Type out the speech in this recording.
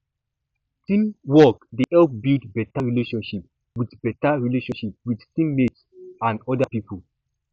teamwork dey help build better relationship with better relationship with team mates and other people